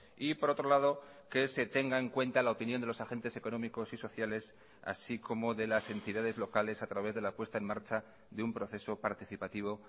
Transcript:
y por otro lado que se tenga en cuenta la opinión de los agentes económicos y sociales así como de las entidades locales a través de la puesta en marcha de un proceso participativo